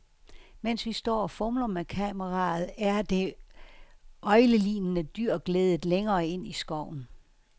Mens vi står og fumler med kameraet, er det øglelignende dyr gledet længere ind i skoven.